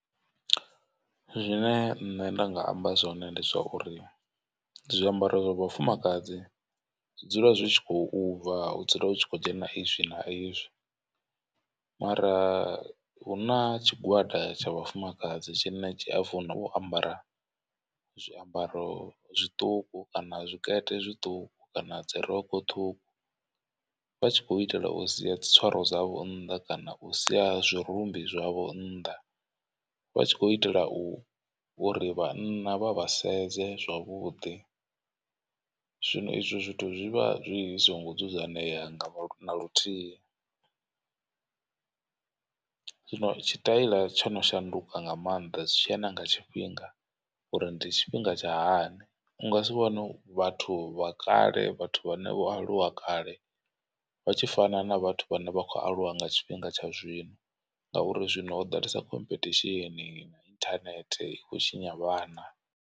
Zwine nṋe nda nga amba zwone ndi zwa uri zwiambaro zwa vhafumakadzi zwi dzula zwi tshi khou bva hu dzula hu tshi khou dzhena izwi na izwi. Mara hu na tshigwada tsha vhafumakadzi tshine tshi a funa u ambara zwiambaro zwiṱuku kana zwikete zwiṱuku kana dzirokho ṱhukhu. Vha tshi khou itela u sia tswaro dzavho nnḓa kana u sia zwirumbi zwavho nnḓa vha tshi khou itela u uri vhanna vha vha sedze zwavhuḓi. Zwino izwo zwithu zwivha zwi songo dzudzanea nga na luthihi zwino tshi taila tsho no shanduka nga maanḓa zwi tshia na nga tshifhinga. Uri ndi tshifhinga tsha hani u nga si vhone vhathu vha kale vhathu vhane vho aluwa kale vha tshi fana na vhathu vhane vha khou aluwa nga tshifhinga tsha zwino. Ngauri zwino ho ḓalesa khomphethishini na internet i kho tshinya vhana.